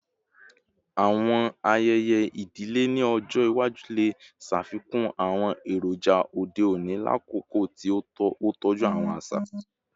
Awọn ayẹyẹ idile ni ọjọ iwaju le ṣafikun awọn eroja ode oni lakoko ti o tọju awọn aṣa